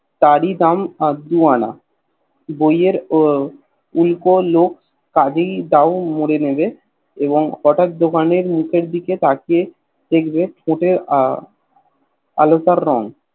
তার ই দাম দু আনা বইয়ের উলকলক কাজেই দাও মুড়ে নেবে এবং হটাৎ দোকানের মুখের দিকে তাকিয়ে দেখবে ফুটে আহ আলতার রঙ